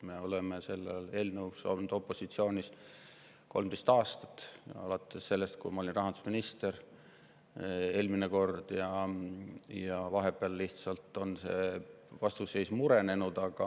Me oleme selle eelnõu suhtes opositsioonis olnud 13 aastat, alates sellest ajast, kui ma eelmine kord rahandusminister olin, vahepeal on see vastuseis lihtsalt murenenud.